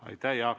Aitäh!